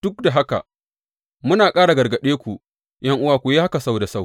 Duk da haka muna ƙara gargaɗe ku, ’yan’uwa, ku yi haka sau da sau.